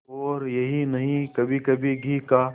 और यही नहीं कभीकभी घी का